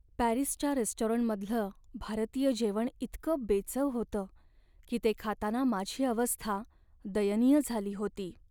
पॅरिसच्या रेस्टॉरंटमधलं भारतीय जेवण इतकं बेचव होतं की ते खाताना माझी अवस्था दयनीय झाली होती.